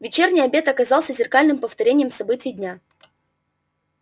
вечерний обед оказался зеркальным повторением событий дня